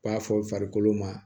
B'a fɔ farikolo ma